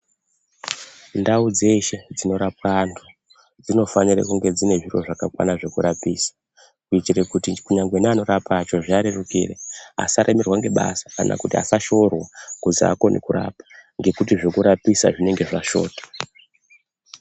Ndau dzeshe dzinorapwa antu dzinofanire kunge dzine zviro zvakakwana zvekurapisa kuitire kuti kunyangwe neanorapa acho zviarerukire asaremerwa ngebasa kana kuti asashorwa kuzi aakoni kurapa ngekuti zvekurapisa zvinenge zvashota.